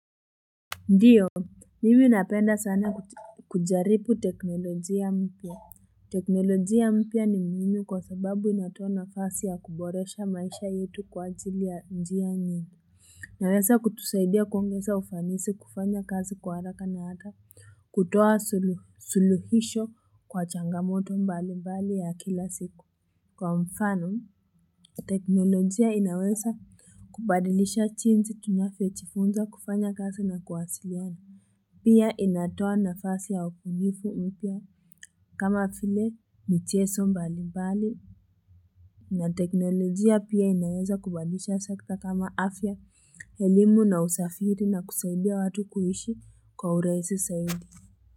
Ndiyo mimi napenda sana kujaribu teknolojia mpya teknolojia mpya ni muhimu kwa sababu inatoa nafasi ya kuboresha maisha yetu kwa ajili ya njia nyingi inaweza kutusaidia kuongeza ufanisi kufanya kazi kwa haraka na hata kutoa sulu suluhisho kwa changamoto mbali mbali ya kila siku kwa mfano teknolojia inaweza kubadilisha jinsi tunavyojifunza kufanya kazi na kuwasiliana Pia inatoa nafasi ya ubunifu mpya kama vile michezo mbali mbali na teknolojia pia inaweza kubadilisha sekta kama afya, elimu na usafiri na kusaidia watu kuishi kwa urahisi zaidi.